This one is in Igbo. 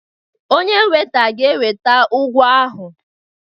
Onye weta ga-eweta ụgwọ ahụ.